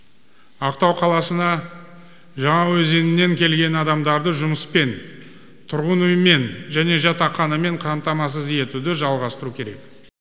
ақтау қаласына жаңаөзеннен келген адамдарды жұмыспен тұрғын үймен және жатақханамен қамтамасыз етуді жалғастыру керек